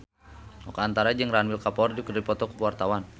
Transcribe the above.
Oka Antara jeung Ranbir Kapoor keur dipoto ku wartawan